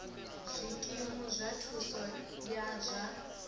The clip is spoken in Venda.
zwikimu zwa thuso ya zwa